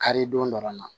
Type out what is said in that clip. Kari don dɔ la